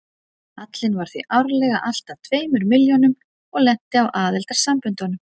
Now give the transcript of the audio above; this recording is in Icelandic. Hallinn var því árlega alltað tveimur milljónum og lenti á aðildarsamböndunum.